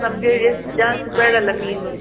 ನಮ್ಗೆ ಎಷ್ಟ್ ಜಾಸ್ತಿ ಬೇಡ ಅಲ್ಲ ಮೀನು.